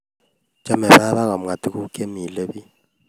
Chame baba komwae tuguk chemile bich